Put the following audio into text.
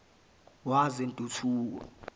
wezentuthuko